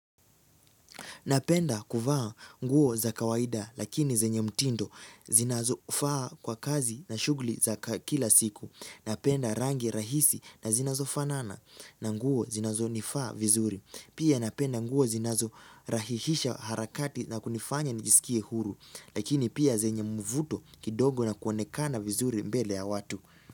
Napenda kuvaa nguo za kawaida lakini zenye mtindo zinazofaa kwa kazi na shughli za kila siku. Napenda rangi rahisi na zinazofanana na nguo zinazonifaa vizuri. Pia napenda nguo zinazorahihisha harakati na kunifanya nijisikie huru. Lakini pia zenye mvuto kidogo na kuonekana vizuri mbele ya watu.